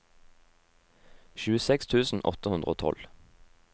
tjueseks tusen åtte hundre og tolv